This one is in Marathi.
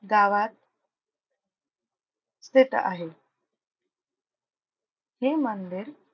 गावात स्थित आहे. हे मंदिर,